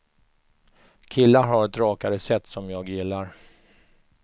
Killar har ett rakare sätt som jag gillar.